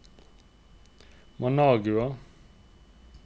Managua